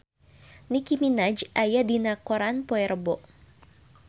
Nicky Minaj aya dina koran poe Rebo